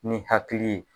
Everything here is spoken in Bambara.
Ni hakili ye